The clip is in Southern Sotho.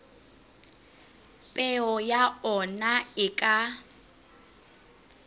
peo ya ona e ka